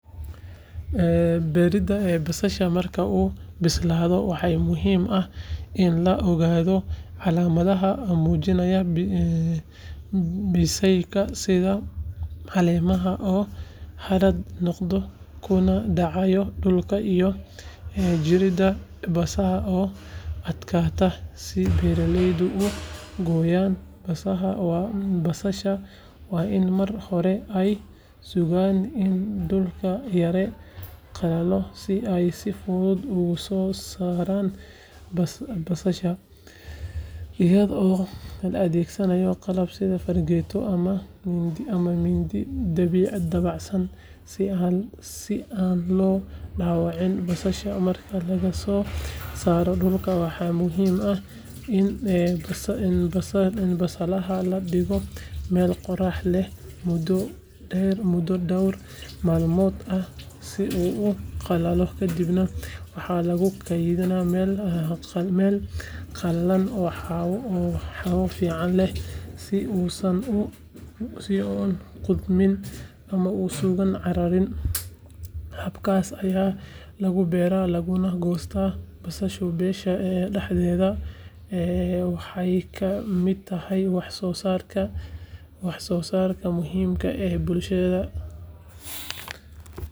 Beeridda basalaha marka uu bislaado waxaa muhiim ah in la ogaado calaamadaha muujinaya bisaylka sida caleemaha oo haraad noqda kuna dhacaya dhulka iyo jirridda basasha oo adkaata si beeraleydu u gooyaan basalaha waa in marka hore ay sugaan in dhulku yara qallalo si ay si fudud uga soo saaraan basalaha iyadoo la adeegsanayo qalab sida fargeeto ama mindi dabacsan si aan loo dhaawacin basalaha marka laga soo saaro dhulka waxaa muhiim ah in basalaha la dhigo meel qorrax leh muddo dhawr maalmood ah si uu u qalalo kadibna waxaa lagu kaydiyaa meel qalalan oo hawo fiican leh si uusan u qudhmin ama uusan caariyin habkaas ayaa lagu beeraa laguna goostaa basalaha beesha dhexdeeda waxayna ka mid tahay wax soo saarka muhiimka ah ee bulshada.